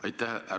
Aitäh!